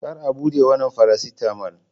Kar a bude wannan faracetamol!